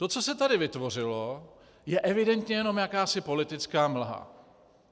To, co se tady vytvořilo, je evidentně jenom jakási politická mlha.